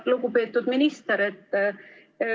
Lugupeetud minister!